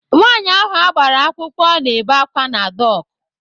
Nwaanyi ahụ agbara akwụkwọ na-ebe àkwá na dọk.